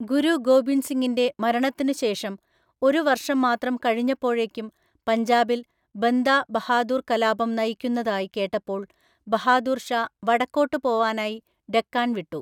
ഗുരു ഗോബിന്ദ് സിങ്ങിൻ്റെ മരണത്തിനുശേഷം ഒരു വർഷംമാത്രം കഴിഞ്ഞപ്പോഴേയ്ക്കും പഞ്ചാബിൽ ബന്ദാ ബഹാദൂർ കലാപം നയിക്കുന്നതായി കേട്ടപ്പോൾ ബഹാദൂർ ഷാ വടക്കോട്ട് പോവാനായി ഡെക്കാൺ വിട്ടു.